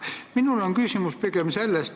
Minul on aga küsimus pigem selle kohta.